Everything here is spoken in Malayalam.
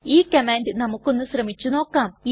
ഈ കമാൻഡ് നമുക്കൊന്ന് ശ്രമിച്ചു നോക്കാം